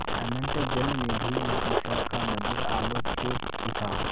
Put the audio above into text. अनंत जलनिधि में उषा का मधुर आलोक फूट उठा